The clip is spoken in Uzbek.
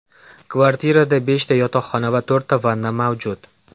Kvartirada beshta yotoqxona va to‘rtta vanna mavjud.